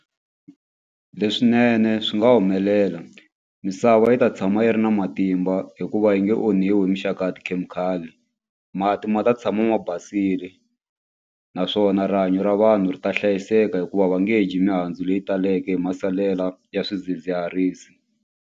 Leswinene swi nga humelela misava yi ta tshama yi ri na matimba hikuva yi nge onhiwi hi mixaka tikhemikhali mati ma ta tshama ma basile naswona rihanyo ra vanhu ri ta hlayiseka hikuva va nge dyi mihandzu leyi taleke hi masalela ya swidzidziharisi.